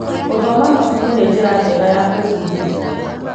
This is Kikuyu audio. Gũthoma mabuku nĩ njĩra njega ya gwĩbundithia.